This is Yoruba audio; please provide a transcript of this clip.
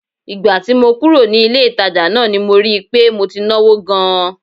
Ìgbà tí mo kúrò ní ilé-ìtàjà náà ni rí i pé mo ti náwó gan-an